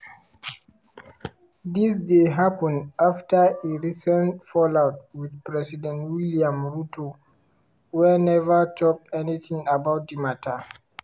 dis dey happun afta e recent fallout with president william ruto wey never tok anything about di matter.